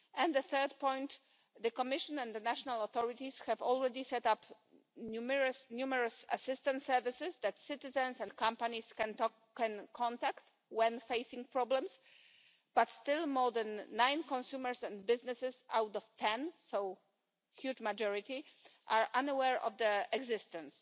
The third point the Commission and the national authorities have already set up numerous assistance services that citizens and companies can contact when facing problems, but still more than 9 out of 10 consumers and businesses a huge majority are unaware of their existence.